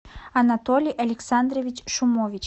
анатолий александрович шумович